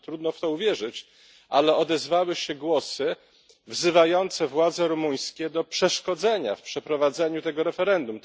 Trudno w to uwierzyć, ale odezwały się głosy wzywające władze rumuńskie do przeszkodzenia w przeprowadzeniu tego referendum.